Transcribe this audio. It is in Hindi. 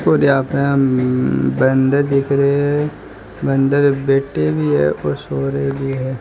और यहा पे हम बंदर देख रहे हैं बंदर बैठे भी है और सो रहे भी है।